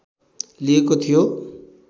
लिएको थियो